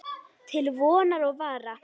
Til vonar og vara.